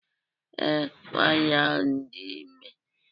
Ee, nwanyị ahụ dị ime